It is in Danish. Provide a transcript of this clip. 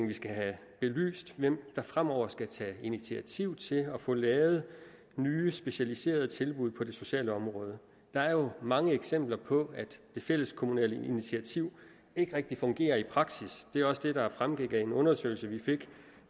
vi skal have belyst hvem der fremover skal tage initiativ til at få lavet nye specialiserede tilbud på det sociale område der er jo mange eksempler på at det fælleskommunale initiativ ikke rigtig fungerer i praksis det er jo også det der fremgik af en undersøgelse vi fik